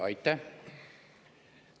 Aitäh!